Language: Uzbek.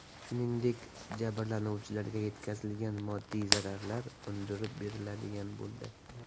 Shuningdek, jabrlanuvchilarga yetkazilgan moddiy zararlar undirib beriladigan bo‘ldi.